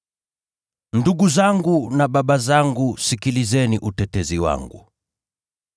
“Ndugu zangu na baba zangu, sikilizeni utetezi wangu.”